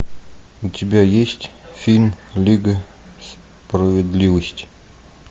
у тебя есть фильм лига справедливости